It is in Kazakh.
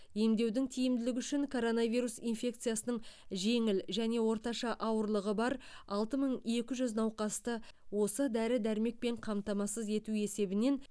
емдеудің тиімділігі үшін коронавирус инфекциясының жеңіл және орташа ауырлығы бар алты мың екі жүз науқасты осы дәрі дәрмекпен қамтамасыз ету есебінен